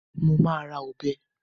Mo ma ra ọbẹ̀